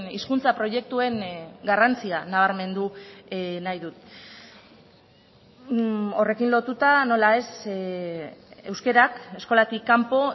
hizkuntza proiektuen garrantzia nabarmen du nahi dut horrekin lotuta nola ez euskarak eskolatik kanpo